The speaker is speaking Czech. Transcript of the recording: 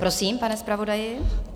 Prosím, pane zpravodaji.